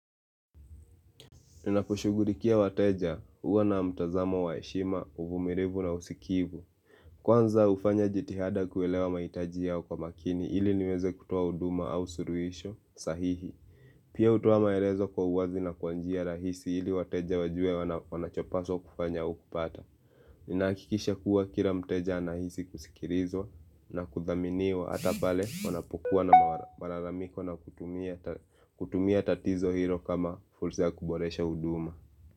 Ninapushughulikia wateja, huwa na mtazamo wa heshima uvumilivu na usikivu Kwanza hufanya jitihada kuelewa mahitaji yao kwa makini ili niweze kutoa huduma au suluhisho sahihi Pia hutoa maelezo kwa uwazi na kwan jia rahisi, ili wateja wajuwe wanachopaswa kufanya au kupata Ninahakikisha kuwa kila mteja anahisi kusikilizwa na kuthaminiwa, hata pale wanapokuwa na malalamiko na kutumia tatizo hilo kama fursa ya kuboresha huduma.